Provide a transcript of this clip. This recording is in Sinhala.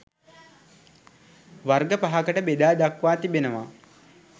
වර්ග පහකට බෙදා දක්වා තිබෙනවා